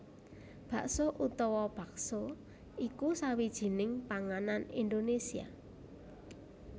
Bakso utawa baxo iku sawijining panganan Indonésia